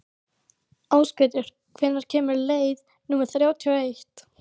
Ásgautur, hvenær kemur leið númer þrjátíu og eitt?